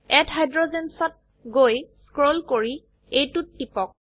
add hydrogens ত গৈ scroll কৰি এইটোত টিপক